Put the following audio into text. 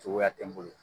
Cogoya tɛ n bolo